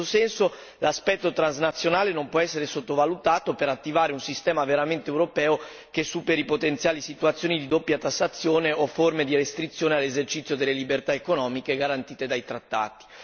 In questo senso, l'aspetto transnazionale non può essere sottovalutato per attivare un sistema veramente europeo che superi potenziali situazioni di doppia tassazione o forme di restrizione all'esercizio delle libertà economiche garantite dai trattati.